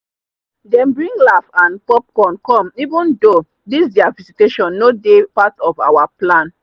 them bring laugh and popcorn come even though this their visitation no dey part of our plan.